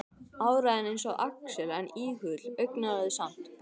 Áræðinn eins og Axel en íhugulli, augnaráðið samt, brosið annað.